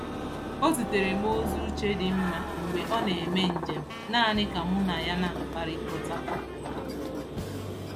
O ziteere m ozi uche dị mma mgbe ọ na-eme njem naanị ka mụ na ya na-akpakọrịta.